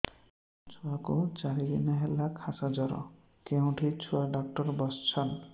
ମୋ ଛୁଆ କୁ ଚାରି ଦିନ ହେଲା ଖାସ ଜର କେଉଁଠି ଛୁଆ ଡାକ୍ତର ଵସ୍ଛନ୍